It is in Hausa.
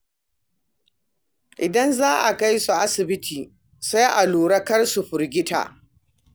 Idan za a kai su asibiti, sai a lura kar su firgita.